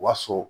Wa so